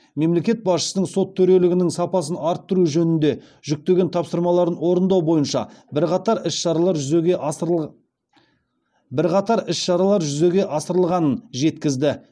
мемлекет басшысының сот төрелігінің сапасын арттыру жөнінде жүктеген тапсырмаларын орындау бойынша бірқатар іс шаралар жүзеге асырылғанын жеткізді